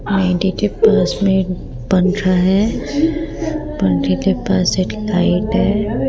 के पास में एक पंखा है पंखे के पास एक लाइट है।